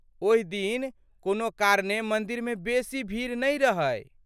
ओहि दिन कोनो कारणेँ मन्दिरमे बेसी भीड़ नहि रहै।